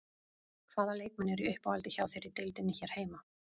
Hvaða leikmenn eru í uppáhaldi hjá þér í deildinni hér heima?